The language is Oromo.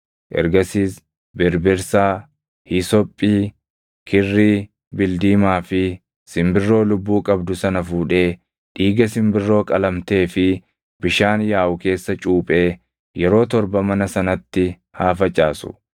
Ergasiis birbirsaa, hiisophii, kirrii bildiimaa fi simbirroo lubbuu qabdu sana fuudhee dhiiga simbirroo qalamtee fi bishaan yaaʼu keessa cuuphee yeroo torba mana sanatti haa facaasu.